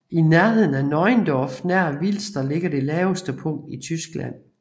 I nærheden af Neuendorf nær Wilster ligger det laveste punkt i Tyskland